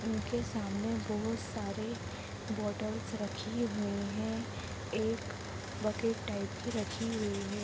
इनके सामने बहुत सारे बोटल्स रखे हुए है एक बकेट टाइप की रखी हुई है।